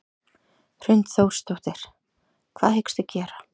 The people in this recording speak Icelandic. Hrund Þórsdóttir: Hvað hyggstu gera?